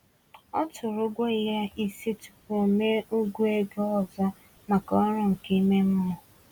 Ọ tụrụ ụgwọ ya isi tupu o mee ụgwọ ego ọzọ maka ọrụ nke ime mmụọ.